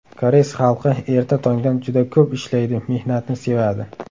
Koreys xalqi erta tongdan juda ko‘p ishlaydi mehnatni sevadi.